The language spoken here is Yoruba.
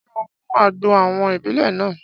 Ṣé ó mu àgbo àwọn ìbílè náà?